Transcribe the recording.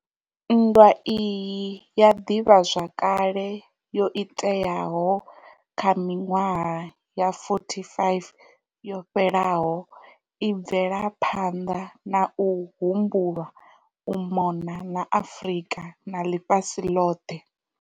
Nndwa iyi ya ḓivhazwakale yo iteaho kha miṅwaha ya 45 yo fhelaho i bvela phanḓa na u humbulwa u mona na Afrika na ḽifhasi ḽoḽhe.